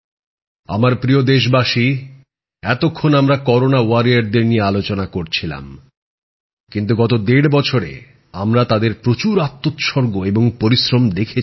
আমার প্রিয় দেশবাসী এতক্ষণ আমরা করোনা যোদ্ধাদের নিয়ে আলোচনা করছিলাম গত দেড় বছরে আমরা তাদের প্রচুর আত্মোৎসর্গ আর পরিশ্রম দেখেছি